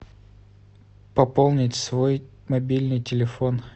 пополнить свой мобильный телефон